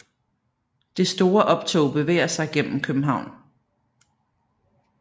Det store optog bevæger sig gennem København